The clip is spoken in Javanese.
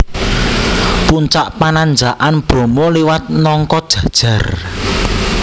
Puncak Pananjakan Bromo liwat Nongkojajar